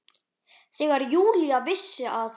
Þegar Júlía vissi að